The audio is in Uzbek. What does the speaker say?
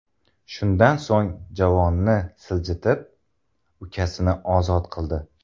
Shundan so‘ng javonni siljitib, ukasini ozod qildi.